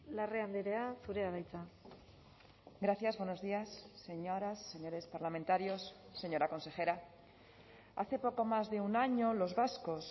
larrea andrea zurea da hitza gracias buenos días señoras señores parlamentarios señora consejera hace poco más de un año los vascos